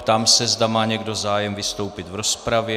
Ptám se, zda má někdo zájem vystoupit v rozpravě.